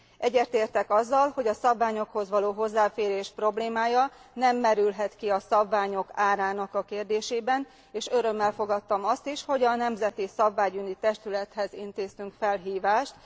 Egyetértek azzal, hogy a szabványokhoz való hozzáférés problémája nem merülhet ki a szabványok árának kérdésében, és örömmel fogadtam azt is, hogy a Nemzeti Szabványügyi Testülethez intéztünk felhívást.